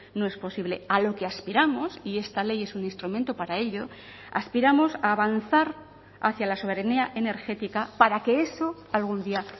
no es posible a lo que aspiramos y esta ley es un instrumento para ello aspiramos a avanzar hacia la soberanía energética para que eso algún día